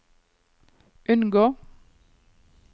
unngå